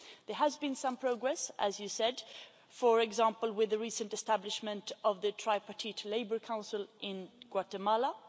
There has been some progress, as you said for example, with the recent establishment of the tripartite labour council in Guatemala.